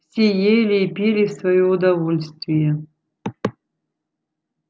все ели и пили в своё удовольствие